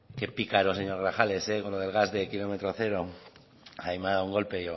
qué pícaro señor grajales con el gas de kilómetro cero ahí me ha dado un golpe